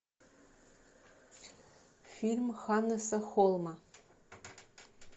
фильм ханнеса холма